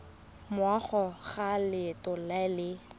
morago ga letlha le le